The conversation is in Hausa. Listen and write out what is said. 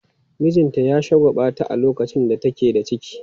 Mijinta ya shagwaɓata a lokacin da take da ciki.